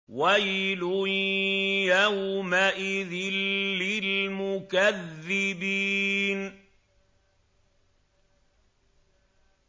وَيْلٌ يَوْمَئِذٍ لِّلْمُكَذِّبِينَ